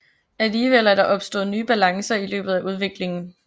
Alligevel er der opstået nye balancer i løbet af udviklingen